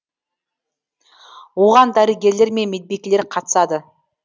оған дәрігерлер мен медбикелер қатысады